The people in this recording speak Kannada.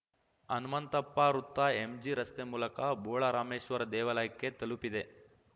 ಹನುಮಂತಪ್ಪ ವೃತ್ತ ಎಂಜಿ ರಸ್ತೆ ಮೂಲಕ ಬೋಳರಾಮೇಶ್ವರ ದೇವಾಲಯಕ್ಕೆ ತಲುಪಿದೆ